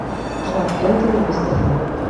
жак энтони бездыханным